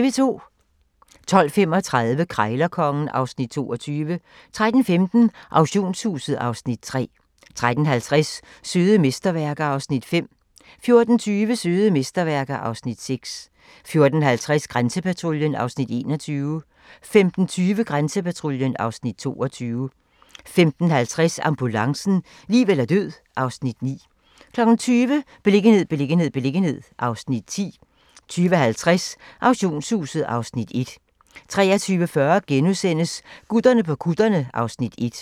12:35: Krejlerkongen (Afs. 22) 13:15: Auktionshuset (Afs. 3) 13:50: Søde mesterværker (Afs. 5) 14:20: Søde mesterværker (Afs. 6) 14:50: Grænsepatruljen (Afs. 21) 15:20: Grænsepatruljen (Afs. 22) 15:50: Ambulancen - liv eller død (Afs. 9) 20:00: Beliggenhed, beliggenhed, beliggenhed (Afs. 10) 20:50: Auktionshuset (Afs. 1) 23:40: Gutterne på kutterne (Afs. 1)*